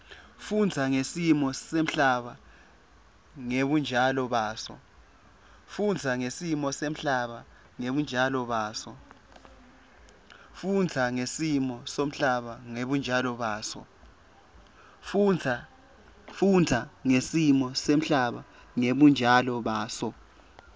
kufundza ngesimo semhlaba ngebunjalo baso